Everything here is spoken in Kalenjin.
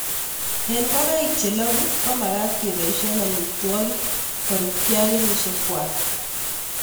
Eng' ngogaik che lagu ko magat ke poishe amitwogik korupkei ak kenyishek kwai